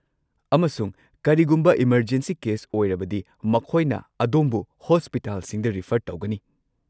ꯑꯃꯁꯨꯡ ꯀꯔꯤꯒꯨꯝꯕ emergency case ꯑꯣꯏꯔꯕꯗꯤ ꯃꯈꯣꯏꯅ ꯑꯗꯣꯝꯕꯨ ꯍꯣꯁꯄꯤꯇꯥꯜꯁꯤꯡꯗ ꯔꯤꯐꯔ ꯇꯧꯒꯅꯤ꯫